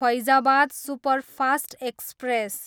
Faizabad superfast express